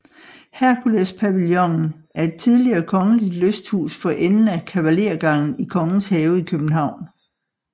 Herkulespavillonen er et tidligere kongeligt lysthus for enden af Kavalergangen i Kongens Have i København